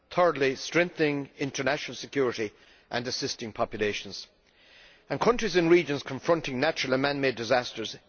Thirdly strengthening international security and assisting populations, countries and regions confronting natural and man made disasters.